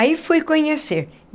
Aí fui conhecer.